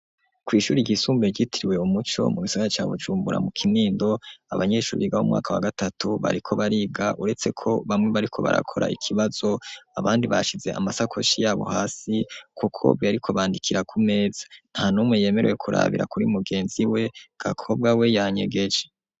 Kwishuri i ryisumbe gitiriwe Umuco mu Gisagara ca Bujumbura mu Kinindo abanyeshure biga b'umwaka wa gatatu bariko bariga uretse ko bamwe bariko barakora ikibazo abandi bashize amasakoshi yabo hasi kuko bariko bandikira ku mezi nta numwe yemerewe kurabira kuri mugenzi we Gaakobwa we yanyegeje.